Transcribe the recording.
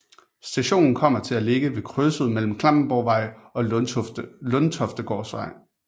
Stationen kommer til at ligge ved krydset mellem Klampenborgvej og Lundtoftegårdsvej